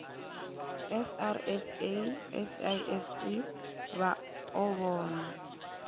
srsa sasc vha o vhona